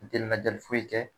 foyi kɛ